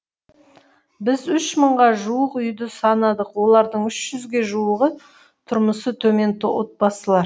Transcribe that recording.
біз үш мыңға жуық үйді санадық олардың үш жүзге жуығы тұрмысы төмен отбасылар